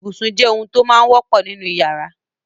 Ibùsùn jẹ́ ohun tó máa wọ́pọ̀ nínú ìyàrá.